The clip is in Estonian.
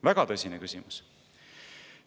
Väga tõsine küsimus!